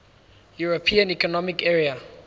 european economic area